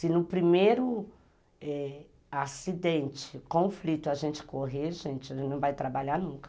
Se no primeiro eh acidente, conflito, a gente correr, gente, a gente não vai trabalhar nunca.